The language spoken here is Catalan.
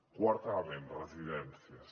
quart element residències